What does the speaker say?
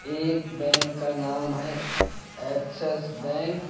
एक बैंक का नाम है एक्सेस बैंक ।